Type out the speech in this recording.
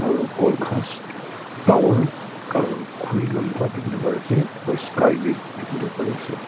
aro khol khas tower aro khori lamba teboli pare ase aro sky beh teboli pare ase.